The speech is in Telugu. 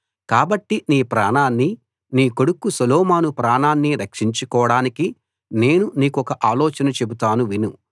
కాబట్టి నీ ప్రాణాన్ని నీ కొడుకు సొలొమోను ప్రాణాన్ని రక్షించుకోడానికి నేను నీకొక ఆలోచన చెబుతాను విను